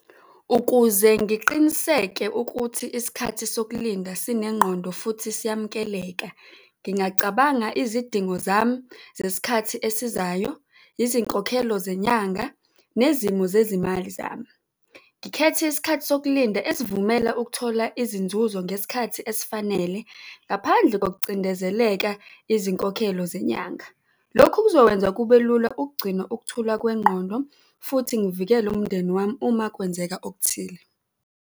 Ukuze ngiqiniseke ukuthi isikhathi sokulinda sinengqondo futhi siyamukeleka. Ngingacabanga izidingo zami zesikhathi esizayo, izinkokhelo zenyanga nezimo zezimali zami, ngikhethe isikhathi sokulinda esivumela ukuthola izinzuzo ngesikhathi esifanele, ngaphandle ngokucindezeleka izinkokhelo zenyanga. Lokhu kuzokwenza kubelula ukugcina ukuthula kwengqondo futhi ngivikele umndeni wami uma kwenzeka okuthile.